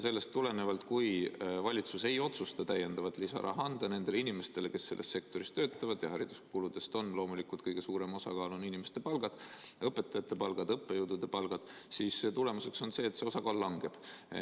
Sellest tulenevalt, kui valitsus ei otsusta anda lisaraha nendele inimestele, kes selles sektoris töötavad, ja hariduskuludes on loomulikult kõige suurem osakaal inimeste palkadel, õpetajate palkadel, õppejõudude palkadel, on tulemus see, et see osakaal langeb.